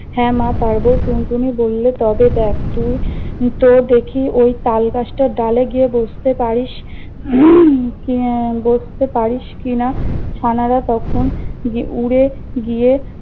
হ্যা মা পারব। টুনটুনি বললে তবে দেখ- তুই তো দেখি ঐ তালগাছটার ডালে গিয়ে বসতে পারিস কি আহ বসতে পারিস কি না? ছানারা তখন গি~ উড়ে গিয়ে